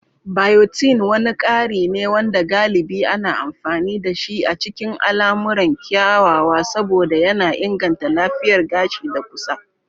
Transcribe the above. Biotin wani kari ne wanda galibi ana amfani dashi a cikin al'amuran kyawawa saboda yana inganta lafiyar gashi da ƙusa.